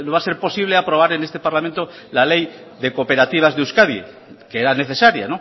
a ser posible aprobar en este parlamento la ley de cooperativas de euskadi que era necesaria